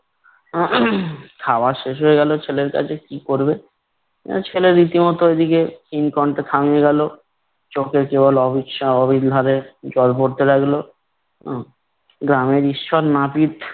খাওয়া শেষ হয়ে গেলো। ছেলের কাজে কি করবে? আর ছেলে রীতিমতো এদিকে গেলো। চোখে কেবল জল পড়তে লাগলো। গ্রামের ঈশ্বর নাপিত